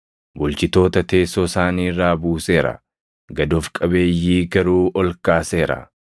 Bulchitoota teessoo isaanii irraa buuseera; gad of qabeeyyii garuu ol kaaseera.